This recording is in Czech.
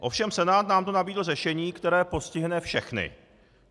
Ovšem Senát nám tu nabídl řešení, které postihne všechny.